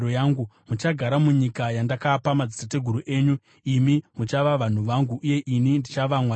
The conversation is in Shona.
Muchagara munyika yandakapa madzitateguru enyu; imi muchava vanhu vangu, uye ini ndichava Mwari wenyu.